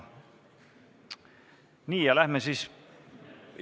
Nii, läheme siis päevakorra juurde.